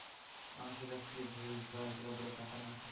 মানুষের কাছ থেকে ঘুষ বা এগুলো বলে টাকা নেওয়াটা